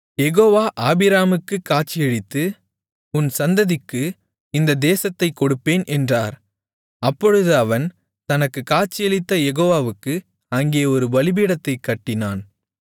யெகோவா ஆபிராமுக்குக் காட்சியளித்து உன் சந்ததிக்கு இந்த தேசத்தைக் கொடுப்பேன் என்றார் அப்பொழுது அவன் தனக்குக் காட்சியளித்த யெகோவாவுக்கு அங்கே ஒரு பலிபீடத்தைக் கட்டினான்